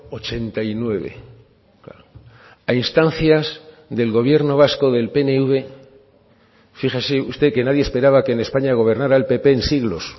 ochenta y nueve a instancias del gobierno vasco del pnv fíjese usted que nadie esperaba que en españa gobernara el pp en siglos